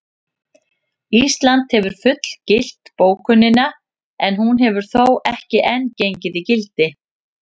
Ísland hefur fullgilt bókunina en hún hefur þó ekki enn gengið í gildi.